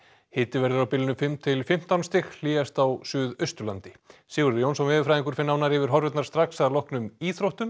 hiti verður á bilinu fimm til fimmtán stig hlýjast á Suðausturlandi Sigurður Jónsson veðurfræðingur fer nánar yfir strax að loknum íþróttum